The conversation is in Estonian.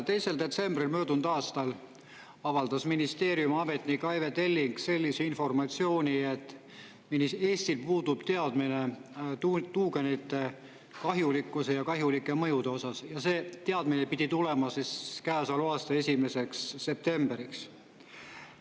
2. detsembril möödunud aastal avaldas ministeeriumi ametnik Aive Telling sellise informatsiooni, et Eestil puudub teadmine tuugenite kahjulikkuse ja kahjulike mõjude osas, ja see teadmine pidi tulema siis käesoleva aasta 1. septembriks.